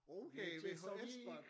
Okay VHS bånd!